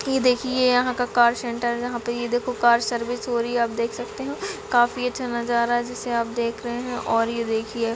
ये देखिए ये यहाँ का कार सेंटर यहाँ पर ये देखो कार सर्विस हो रही है आप देख सकते है काफी अच्छा नजारा है जिसे आप देख रहे हैं और ये देखिए--